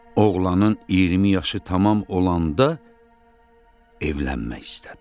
Oğlanın 20 yaşı tamam olanda evlənmək istədi.